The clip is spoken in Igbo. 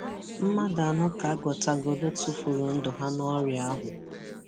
Mmadụ anọ ka agụtagoru tufuru ndụ ha nọrịa ahu.